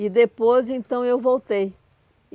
E depois, então, eu voltei.